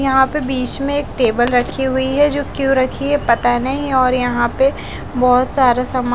यहां पे बीच में एक टेबल रखी हुई है जो क्यों रखी है पता नहीं और यहां पे बहोत सारा समा--